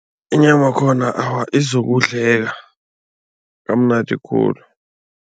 Inyamakhona awa, izokudleka kamnandi khulu.